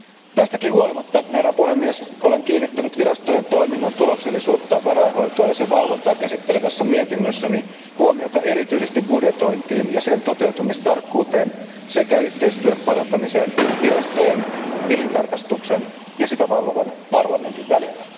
Tästäkin huolimatta, herra puhemies, olen kiinnittänyt virastojen toiminnan tuloksellisuutta, varainhoitoa ja sen valvontaa käsittelevässä mietinnössäni huomiota erityisesti budjetointiin ja sen toteutumistarkkuuteen sekä yhteistyön parantamiseen virastojen, tilintarkastuksen ja sitä valvovan parlamentin välillä.